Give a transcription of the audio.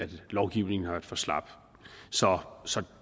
lovgivningen har været for slap så så